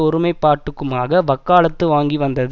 ஒருமைப்பாட்டுக்குமாக வக்காலத்து வாங்கி வந்தது